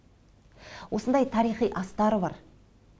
осындай тарихи астары бар